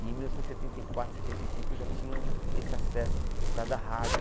E em mil novecentos e setenta e quatro, setenta e cinco, eu já tinha um esse acesso, por causa da rádio.